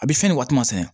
A bɛ fɛn nin waati ma saya